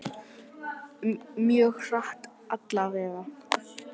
Hafsteinn: Mjög hratt allavega?